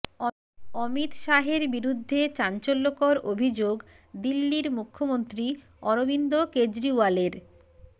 অমিত শাহের বিরুদ্ধে চাঞ্চল্যকর অভিযোগ দিল্লির মুখ্যমন্ত্রী অরবিন্দ কেজরিওয়ালের